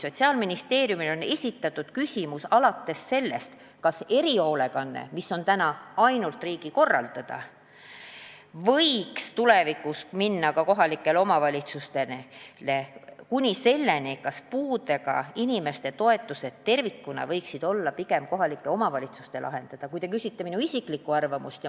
Sotsiaalministeeriumile on esitatud küsimus alates sellest, kas erihoolekanne, mis on praegu ainult riigi korraldada, võiks tulevikus minna ka kohalikele omavalitsustele, kuni selleni, kas puudega inimeste toetused tervikuna võiksid olla pigem kohalike omavalitsuste lahendada.